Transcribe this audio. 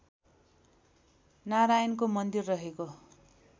नारायणको मन्दिर रहेको